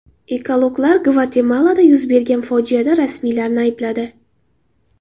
Ekologlar Gvatemalada yuz bergan fojiada rasmiylarni aybladi .